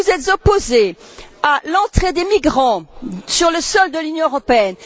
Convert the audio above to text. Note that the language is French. Vous vous êtes opposé à l'entrée des migrants sur le sol de l'Union européenne.